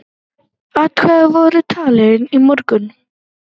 Atkvæði voru talin í morgun.